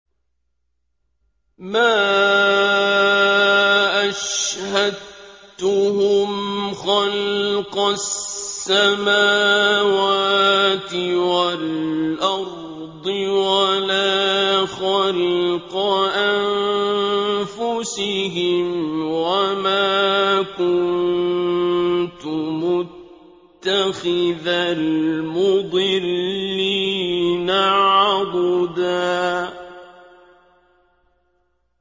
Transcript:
۞ مَّا أَشْهَدتُّهُمْ خَلْقَ السَّمَاوَاتِ وَالْأَرْضِ وَلَا خَلْقَ أَنفُسِهِمْ وَمَا كُنتُ مُتَّخِذَ الْمُضِلِّينَ عَضُدًا